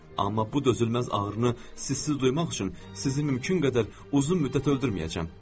Amma bu dözülməz ağrını sizsiz duymaq üçün sizi mümkün qədər uzun müddət öldürməyəcəm.